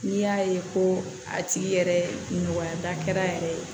N'i y'a ye ko a tigi yɛrɛ nɔgɔyara yɛrɛ ye